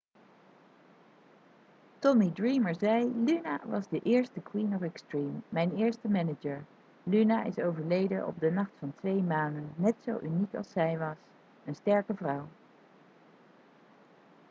tommy dreamer zei 'luna was de eerste 'queen of extreme'. mijn eerste manager. luna is overleden op de nacht van twee manen. net zo uniek als zij was. een sterke vrouw.'